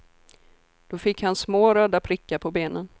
Då fick han små röda prickar på benen.